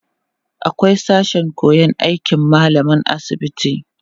akwai sashen koyan aikin mallaman asibiti